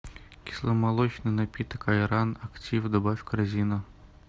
кисломолочный напиток айран актив добавь в корзину